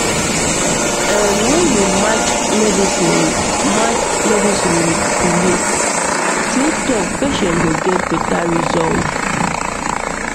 erm when you match medicine with match medicine with belief true talk patient go get better result